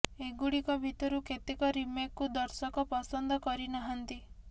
ଏଗୁଡିକ ଭିତରୁ କେତେକ ରିମେକ୍କୁ ଦର୍ଶକ ପସନ୍ଦ କରି ନାହାନ୍ତି